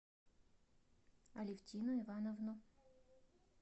алевтину ивановну